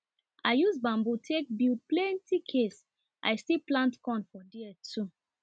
i use bamboo take build plenty case i still plant corn for there too